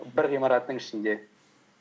бір ғимараттың ішінде